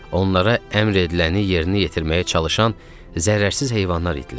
Onlara əmr ediləni yerinə yetirməyə çalışan zərrəsiz heyvanlar idilər.